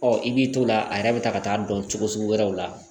Ɔ i b'i to o la a yɛrɛ bɛ taa ka taa dɔn cogo sugu wɛrɛw la